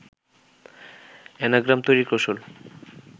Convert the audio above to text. anagram তৈরির কৌশল